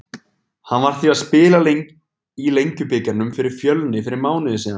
Hann var því að spila í Lengjubikarnum fyrir Fjölni fyrir mánuði síðan.